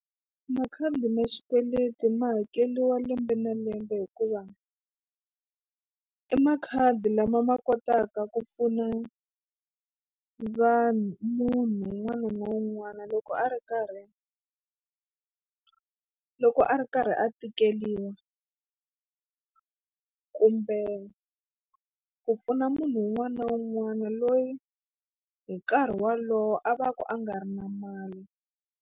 Makhadi ma xikweleti ma hakeriwa lembe na lembe hikuva i makhadi lama ma kotaka ku pfuna vanhu munhu un'wana na un'wana loko a ri karhi loko a ri karhi a tikeriwa kumbe ku pfuna munhu un'wana na un'wana loyi hi nkarhi wolowo a va ka a nga ri na mali.